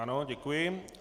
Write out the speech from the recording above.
Ano, děkuji.